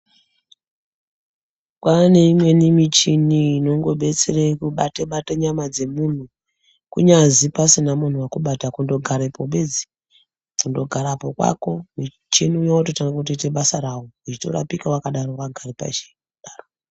Kwaane imweni michini inongodetsere kubatabata nyama dzemunthu kunyazi pasina munhu wekubata kundogarepo bedzi, kundogarepo kwako muchina uya wototanga kuita basa rawo uchitorapika wakadaro wakagare pashi kudaro.